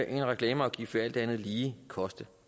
en reklameafgift vil alt andet lige koste